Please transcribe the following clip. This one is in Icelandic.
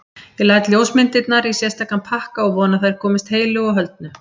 Ég læt ljósmyndirnar í sérstakan pakka og vona að þær komist heilu og höldnu.